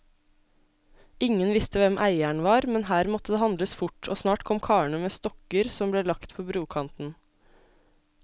Ingen visste hvem eieren var, men her måtte det handles fort, og snart kom karene med stokker som ble lagt på brokanten.